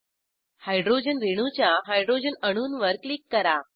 hydrogen रेणूच्या hydrogen अणूंवर click करा